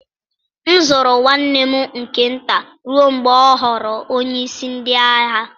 M zụrụ nwanne m nke nta ruo mgbe ọ ghọrọ onyeisi ndị agha.